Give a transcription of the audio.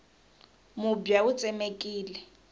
mubya wu tsemekile